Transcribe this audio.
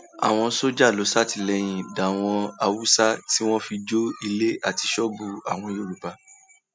àwọn sójà ló ṣàtìlẹyìn dáwọn haúsá tí wọn fi jó ilé àti ṣọọbù àwọn yorùbá